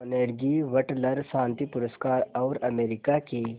Carnegie वटलर शांति पुरस्कार और अमेरिका के